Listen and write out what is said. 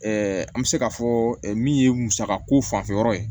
an bɛ se k'a fɔ min ye musaka ko fanfɛyɔrɔ ye